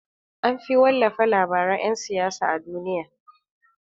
Anfi wallafa labaran yan siyasa a duniya.